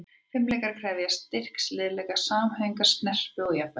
Fimleikar krefjast styrks, liðleika, samhæfingar, snerpu og jafnvægis.